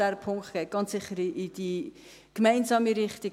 Dieser Punkt geht ganz sicher in die gemeinsame Richtung;